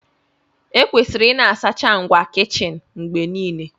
Ekwesịrị ịna-asacha ngwa kichin mgbe niile